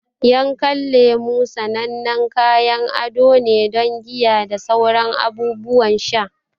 Yankan lemu sanannen kayan ado ne don giya da sauran abubuwan sha.